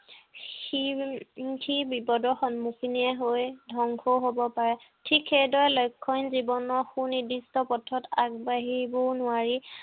সি উম সি বিপদৰ সন্মখীনে হৈ ধ্বংসও হব পাৰে। ঠিক সেইদৰে লক্ষ্য়হীন জীৱনৰ সু নিৰ্দিষ্ট পথত আগবাঢ়িবও নোৱাৰি।